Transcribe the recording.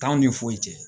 T'anw ni foyi cɛ